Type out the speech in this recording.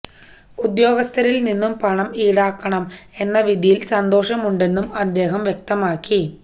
ഉദ്യോഗസ്ഥരില് നിന്നും പണം ഈടാക്കണം എന്ന വിധിയില് സന്തോഷമുണ്ടെന്നും അദ്ദേഹം വ്യക്തമാക്കി